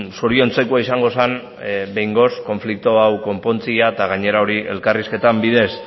zoriontzekoa izango zen behingoz konflikto hau konpontzea eta gainera hori elkarrizketen bidez